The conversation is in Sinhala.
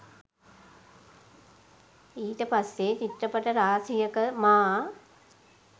ඊට පස්සේ චිත්‍රපට රාශියක මා